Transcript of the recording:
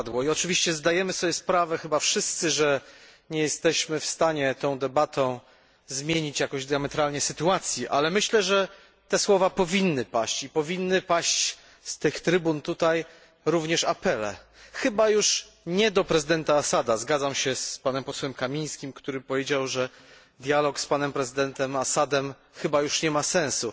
Oczywiście zdajemy sobie sprawę chyba wszyscy, że nie jesteśmy w stanie tą debatą zmienić jakoś diametralnie sytuacji, ale myślę, że te słowa powinny paść. Powinny paść z tych trybun tutaj również apele, chyba już nie do prezydenta Assada. Zgadzam się z posłem Kamińskim, który powiedział, że dialog z prezydentem Assadem chyba już nie ma sensu.